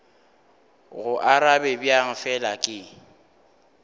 go arabe bjang fela ke